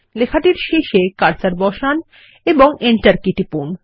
লেখাটির শেষে কার্সার বসান এবং এন্টার কী টিপুন